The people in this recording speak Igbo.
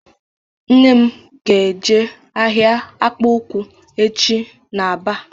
Nne m ga eje ahịa akpụkpọ ụkwụ echi n'Aba